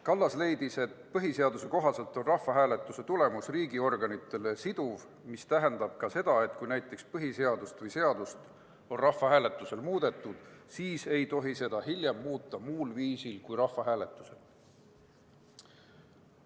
Kallas leidis, et põhiseaduse kohaselt on rahvahääletuse tulemus riigiorganitele siduv, mis tähendab ka seda, et kui näiteks põhiseadust või muud seadust on rahvahääletusel muudetud, siis ei tohi seda hiljem muuta muul viisil kui rahvahääletusel.